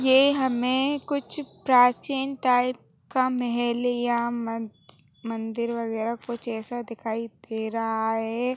ये हमें कुछ प्राचीन टाइप का मेहल या मंद मंदिर वगेरा कुछ ऐसा दिखाई दे रहा है।